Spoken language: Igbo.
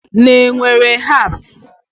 Ị na-ewere herbs?